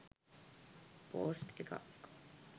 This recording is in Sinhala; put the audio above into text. පෝස්ට් එකක්